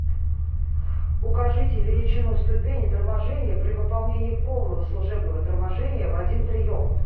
укажите величину ступени торможения при выполнении полного служебного торможения в один прием